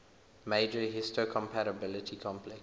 major histocompatibility complex